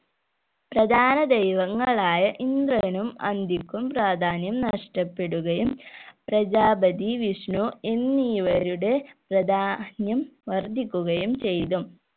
പ്രധാന ദൈവങ്ങളായ ഇന്ദ്രനും അന്തിക്കും പ്രാധാന്യം നഷ്ടപ്പെടുകയും പ്രജാപതി വിഷ്ണു എന്നിവരുടെ പ്രധാന്യം വർദ്ധിക്കുകയും ചെയ്തു